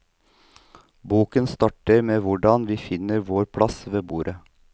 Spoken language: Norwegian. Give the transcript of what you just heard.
Boken starter med hvordan vi finner vår plass ved bordet.